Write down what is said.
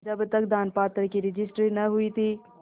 जब तक दानपत्र की रजिस्ट्री न हुई थी